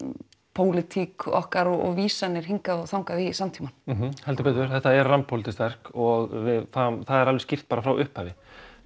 pólitík okkar og svona vísað hingað og þangað í samtímann heldur betur þetta er rammpólitískt verk og það er alveg skýrt bara frá upphafi